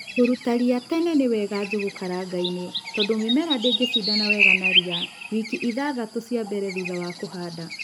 Kûruta ria tene ni wega Njūgū karangainï tondû mïmera ndïngïshindana wega na ria wili ithathatû cia mblele thurha wa kûhanda.